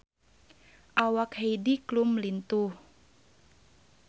Awak Heidi Klum lintuh